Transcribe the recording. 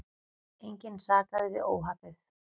Engan sakaði við óhappið.